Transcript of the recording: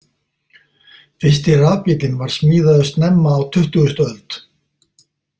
Fyrsti rafbíllinn var smíðaður snemma á tuttugustu öld.